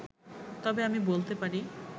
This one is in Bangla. তবে আমি বলতে পারি